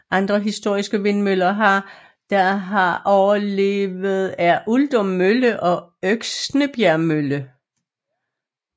Andre historiske vindmøller der har overlevet er Uldum Mølle og Øksnebjerg Mølle